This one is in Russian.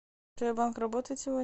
джой банк работает сегодня